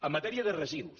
en matèria de residus